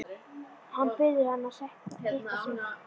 Hann biður hana að hitta sig.